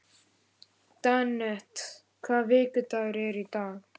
Dante, hvaða vikudagur er í dag?